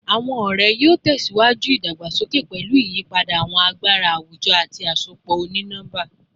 Awọn ọrẹ yoo tẹsiwaju idagbasoke pẹlu iyipada awọn agbara awujọ ati asopọ oni-nọmba